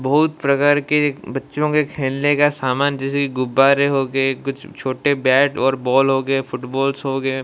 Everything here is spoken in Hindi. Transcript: बहुत प्रकार के बच्चों के खेलने का सामान जिसे गुब्बारे हो गए कुछ छोटे बैट और बॉल फुटबॉल सो गए--